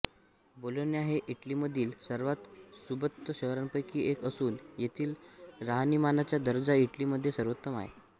Bologna हे इटलीमधील सर्वांत सुबत्त शहरांपैकी एक असून येथील राहणीमानाचा दर्जा इटलीमध्ये सर्वोत्तम आहे